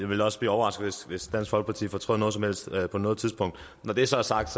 ville også blive overrasket hvis dansk folkeparti fortrød noget som helst på noget tidspunkt når det så er sagt